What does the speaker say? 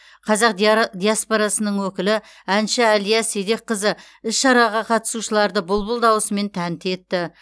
қазақ диаспорасының өкілі әнші әлия седекқызы іс шараға қатысушыларды бұлбұл дауысымен тәнті етті